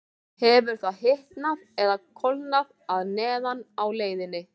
Hefur það hitnað eða kólnað að neðan á leiðinni?